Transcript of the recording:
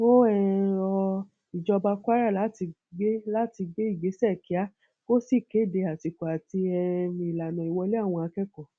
ó um rọ ìjọba kwara láti gbé láti gbé ìgbésẹ kíá kó sì kéde àsìkò àti um ìlànà ìwọlé àwọn akẹkọọ